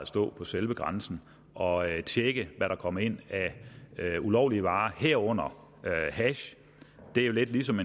stå på selve grænsen og tjekke hvad der kom ind af ulovlige varer herunder hash det er jo lidt lige som